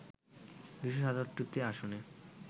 ২৭৭টি আসনে